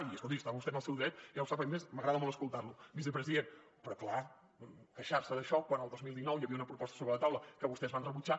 i escolti està vostè en el seu dret ja ho sap a més m’agrada molt escoltar lo vicepresident però clar queixar se d’això quan el dos mil dinou hi havia una proposta sobre la taula que vostès van rebutjar